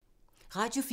Radio 4